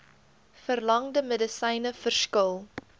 verlangde medisyne verskil